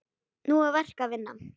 Nú er verk að vinna.